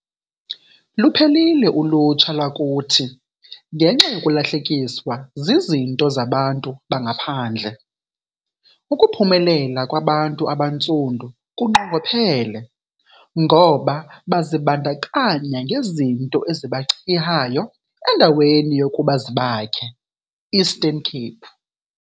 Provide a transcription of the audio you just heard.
Luphelile ulutsha lwakuthi ngenxa yokulahlekiswa zizinto zabantu bangaphandle. Ukuphumelela kwabantu abantsundu kunqongophele ngoba bazibandakanya ngezinto ezibachihayo endaweni yokuba zibakhe. Eastern_Cape